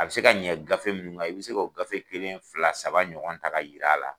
A bɛ se ka ɲɛ gafe minnu i bɛ se k'o gafe kelen fila saba ɲɔgɔn ta ka jira a la